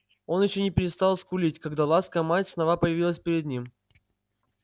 он ещё не перестал скулить когда ласка мать снова появилась перед ним